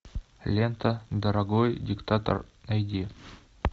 лента дорогой диктатор найди